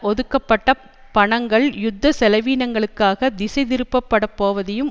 ஒதுக்கப்பட்ட பணங்கள் யுத்த செலவீனங்களுக்காகத் திசைதிருப்பப்படப் போவதையும்